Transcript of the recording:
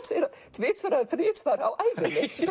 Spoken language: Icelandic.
tvisvar eða þrisvar á ævinni